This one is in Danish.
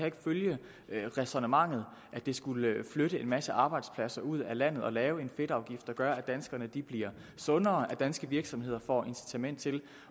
ikke følge det ræsonnement at det skulle flytte en masse arbejdspladser ud af landet at lave en fedtafgift der gør at danskerne bliver sundere og at danske virksomheder får incitament til